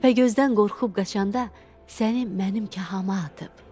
Təpəgözdən qorxub qaçanda səni mənim kəhəyə atıb.